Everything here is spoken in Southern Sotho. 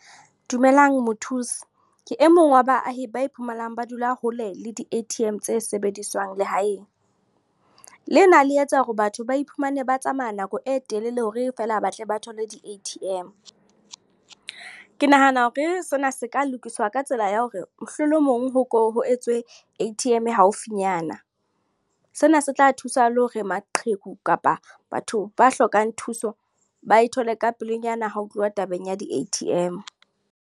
Dumelang mothusi. Ke e mong wa baahi ba iphumanang ba dula hole le di A_T_M tse sebediswang lehaeng. Le na le etsa hore batho ba iphumane ba tsamaya nako e telele, hore feela batle ba thole di A_T_M. Ke nahana hore sena se ka lokiswa ka tsela ya hore mohlolomong ho etswe A_T_M haufinyana. Sena se tla thusa le hore maqheku kapa batho ba hlokang thuso, ba e thole ka pelenyana ha ho tluwa tabeng ya di A_T_M.